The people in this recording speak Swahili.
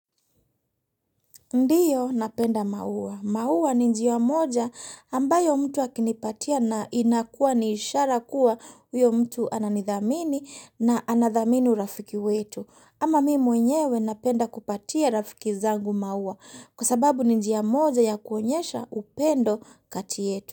Ndiyo napenda maua. Maua ni njia moja ambayo mtu wakinipatia na inakuwa ni ishara kuwa huyo mtu ananidhamini na anadhamini urafiki wetu. Ama mimi mwenyewe napenda kupatia rafiki zangu maua kwa sababu ni njia moja ya kuonyesha upendo kati yetu.